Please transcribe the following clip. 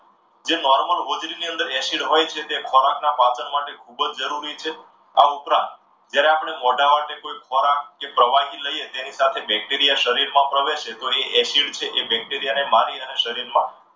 જે normal ઓજડીની અંદર acid હોય છે એ ખોરાકના પાચન માટે ખૂબ જ જરૂરી છે. આ ઉપરાંત જ્યારે આપણે મોઢા દ્વારા કોઈ ખોરાક કે પ્રવાહી લઈએ તો તેની સાથે bacteria શરીરમાં પ્રવેશે તો એ acid છે એ bacteria ને મારી અને શરીરમાં